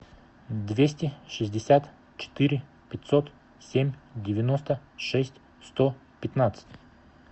двести шестьдесят четыре пятьсот семь девяносто шесть сто пятнадцать